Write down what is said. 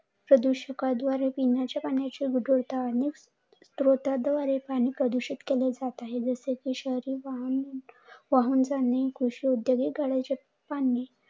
प्रदू शाका द्वारे पिण्याच्या पाण्याच्या प्रदूषित केले जात आहे. जसे की वाहून जाणे. कृषी उद्योग कडे